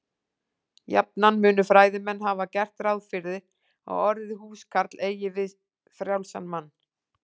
Jafnan munu fræðimenn hafa gert ráð fyrir að orðið húskarl eigi við frjálsan mann.